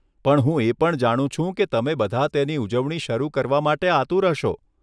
પણ હું એ પણ જાણું છું કે તમે બધા તેની ઉજવણી શરૂ કરવા માટે આતુર હશો.